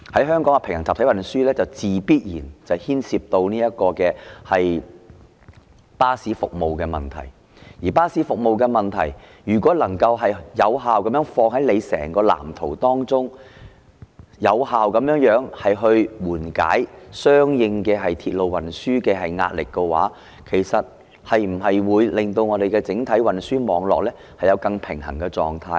香港的平衡集體運輸，必然牽涉到巴士服務的問題，而如果巴士服務能夠放在整個藍圖當中，有效地緩解相應鐵路運輸壓力的話，其實會否令整體運輸網絡有更平衡的狀態呢？